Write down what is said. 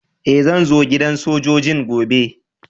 Eh, zan zo gidan sojoji'n gobe.